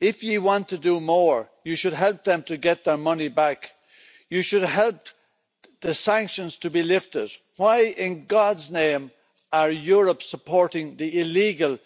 If you want to do more, you should help them to get their money back. You should help the sanctions to be lifted. Why in God's name is Europe supporting the illegal